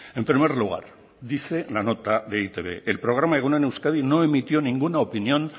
en primer lugar dice la nota de e i te be el programa egun on euskadi no emitió ninguna opinión